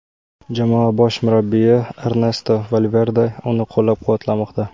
Jamoa bosh murabbiyi Ernesto Valverde uni qo‘llab-quvvatlamoqda.